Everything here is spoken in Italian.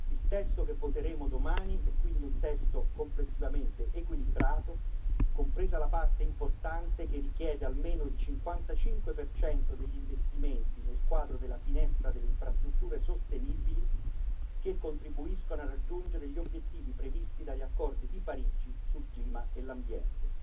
Il testo che voteremo domani è quindi un testo complessivamente equilibrato, compresa la parte importante che richiede almeno il 55 degli investimenti nel quadro della finestra delle infrastrutture sostenibili che contribuiscono a raggiungere gli obiettivi previsti dagli accordi di Parigi sul clima e l'ambiente.